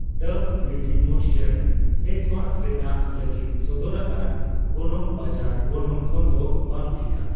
ᱰᱟᱵᱷ beauty moisture face ᱨᱮᱱᱟᱜ ᱞᱟᱹᱜᱤᱫ ᱥᱚᱫᱚᱨ ᱟᱠᱟᱱ ᱜᱚᱱᱚᱝ ᱵᱟᱡᱟᱨ ᱜᱚᱱᱚᱝ ᱠᱷᱚᱱᱫᱚ ᱵᱟᱝ ᱴᱷᱤᱠᱟ ᱾